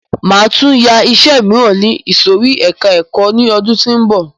Máa tún yá iṣẹ míràn ní ìsòrí ẹka ẹ̀kọ́ ni ọdún tí ó ń bọ̀.